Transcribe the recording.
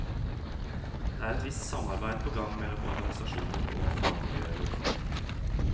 Det er et visst samarbeid på gang mellom organisasjoner og fagmiljøer lokalt.